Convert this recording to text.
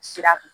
Sira